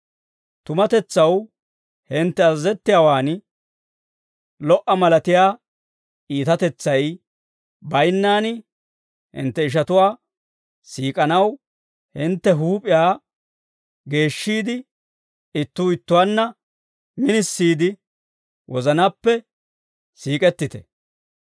Tumatetsaw hintte azazettiyaawan, lo"a malatiyaa iitatetsay bayinnaan hintte ishatuwaa siik'anaw hintte huup'iyaa geeshshiide, ittuu ittuwaanna minisiide wozanaappe siik'ettite.